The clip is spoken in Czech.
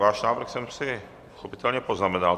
Váš návrh jsem si pochopitelně poznamenal.